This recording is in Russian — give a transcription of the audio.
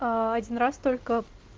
один раз только